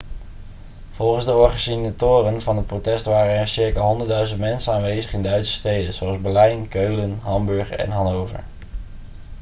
volgens de organisatoren van het protest waren er circa 100.000 mensen aanwezig in duitse steden zoals berlijn keulen hamburg en hannover